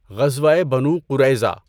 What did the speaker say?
غزوۂ بَنُو قُرَیظَہ